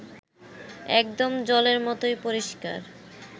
একদম জলের মতোই পরিষ্কার